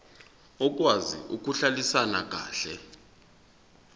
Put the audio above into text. okwazi ukuhlalisana kahle